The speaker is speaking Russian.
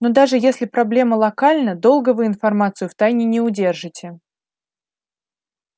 но даже если проблема локальна долго вы информацию в тайне не удержите